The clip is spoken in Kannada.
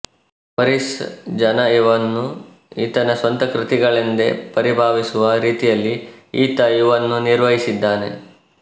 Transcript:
ಒರಿಸ್ಸ ಜನ ಇವನ್ನು ಈತನ ಸ್ವಂತ ಕೃತಿಗಳೆಂದೇ ಪರಿಭಾವಿಸುವ ರೀತಿಯಲ್ಲಿ ಈತ ಇವನ್ನು ನಿರ್ವಹಿಸಿದ್ದಾನೆ